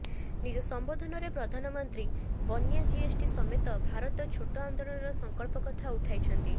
ନିଜ ସମ୍ବୋଧନରେ ପ୍ରଧାନମନ୍ତ୍ରୀ ବନ୍ୟା ଜିଏସଟି ସମେତ ଭାରତ ଛୋଟ ଆନ୍ଦୋଳନର ସଂକଳ୍ପ କଥା ଉଠାଇଛନ୍ତି